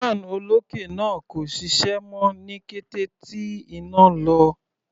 Fan olókè náà kò ṣiṣẹ́ mọ́ ní kété tí iná lọ.